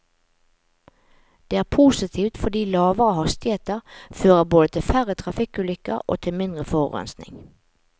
Det er positivt fordi lavere hastigheter fører både til færre trafikkulykker og til mindre forurensing.